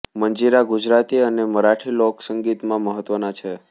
મંજીરા ગુજરાતી અને મરાઠી લોક સંગીતમાં મહત્વના છે